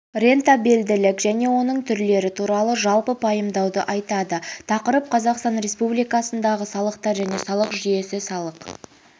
рентабелділік және оның түрлері туралы жалпы пайымдауды айтады тақырып қазақстан республикасындағы салықтар және салық жүйесі салық